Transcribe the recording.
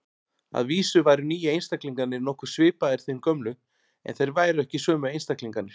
Að vísu væru nýju einstaklingarnir nokkuð svipaðir þeim gömlu, en þeir væru ekki sömu einstaklingarnir.